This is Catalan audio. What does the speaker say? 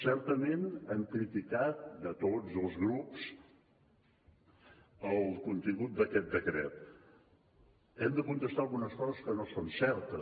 certament han criticat tots els grups el contingut d’aquest decret hem de contestar algunes coses que no són certes